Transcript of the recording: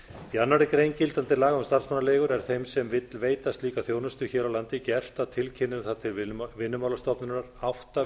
í annarri grein gildandi laga um starfsmannaleigur er þeim sem vill veita slíka þjónustu hér á landi gert að tilkynna um það til vinnumálastofnunar átta